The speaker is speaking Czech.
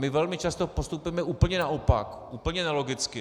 My velmi často postupujeme úplně naopak, úplně nelogicky.